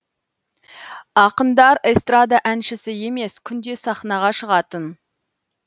ақындар эстрада әншісі емес күнде сахнаға шығатын